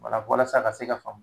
Wala walasa a ka se ka faamu